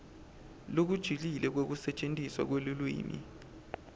lokujulile kwekusetjentiswa kwelulwimi